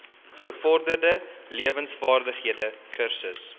gevorderde lewensvaardighede kursus